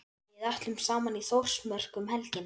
Við ætlum saman í Þórsmörk um helgina.